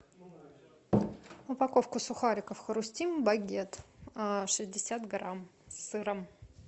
упаковку сухариков хрустим багет шестьдесят грамм с сыром